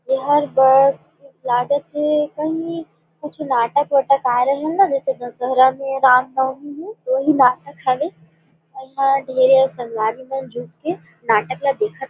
एहर बड़ लागथे कहीं कुछ नाटक उटक आये रहेन न जैसे दशहरा में राम नवमी में तो वही नाटक हवे और इहा ढेरेच संगवारी मन झुम के नाटक ला देखथे।